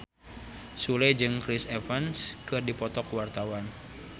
Sule jeung Chris Evans keur dipoto ku wartawan